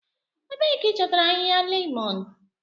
Ebee ka ị chọtara ahịhịa lemon?